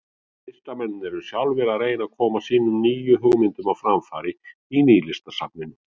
Listamennirnir eru sjálfir að reyna að koma sínum nýju hugmyndum á framfæri í Nýlistasafninu.